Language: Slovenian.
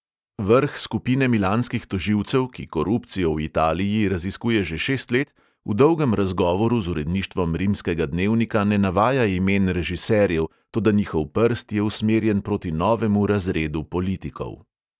Vrh skupine milanskih tožilcev, ki korupcijo v italiji raziskuje že šest let, v dolgem razgovoru z uredništvom rimskega dnevnika ne navaja imen režiserjev, toda njihov prst je usmerjen proti novemu razredu politikov.